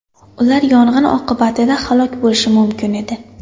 Ular yong‘in oqibatida halok bo‘lishi mumkin edi.